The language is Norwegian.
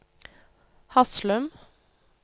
Haslum